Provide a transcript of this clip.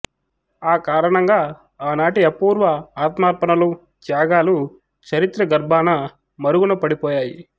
ఆ కారణంగా ఆనాటి అపూర్వ ఆత్మార్పణలు త్యాగాలు చరిత్ర గర్భాన మరుగున పడిపోయాయి